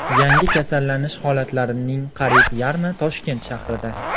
Yangi kasallanish holatlarning qariyb yarmi Toshkent shahrida.